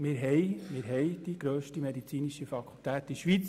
Wir haben die grösste medizinische Fakultät in der Schweiz